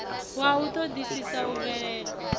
wa u ṱoḓisisa u bvela